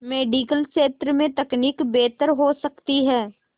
medical क्षेत्र में तकनीक बेहतर हो सकती है